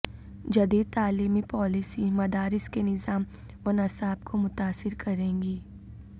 جدید تعلیمی پالیسی مدارس کے نظام ونصاب کو متاثر کرے گی